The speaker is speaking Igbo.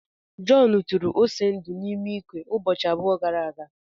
John tụrụ ose ndu n'ime ikwe ụbọchị abụọ gara aga.